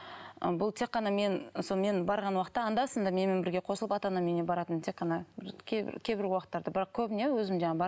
ы бұл тек қана мен сол мен барған уақытта анда санда менімен бірге қосылып ата анамның үйіне баратын тек қана бір кейбір уақыттарда бірақ көбіне өзім жаңағы